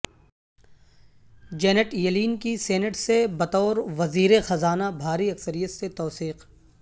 giant Yellen کی senate سے بطور وزیر خزانہ بھاری اکثریت سے توثیق